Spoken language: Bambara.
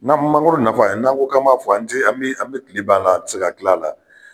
Na mangoro nafa n'an ko k'an m'a fɔ an tɛ an bɛ an bɛ kile ban a la an tɛ se ka kila a la.